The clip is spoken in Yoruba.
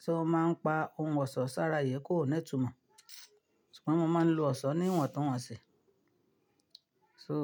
tí ó máa ń pa ohun ọ̀ṣọ́ sára, ìyẹ́ kò ní túnmọ̀. Ṣùgbọ́n wọn máa ń lo ọ̀ṣọ́ ní ìwọ̀n tó wọ́n ṣe. So.